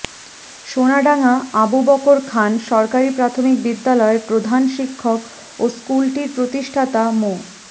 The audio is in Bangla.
সোনাডাঙ্গা আবু বকর খান সরকারি প্রাথমিক বিদ্যালয়ের প্রধান শিক্ষক ও স্কুলটির প্রতিষ্ঠাতা মো